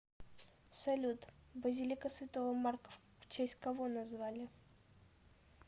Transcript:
салют базилика святого марка в честь кого назвали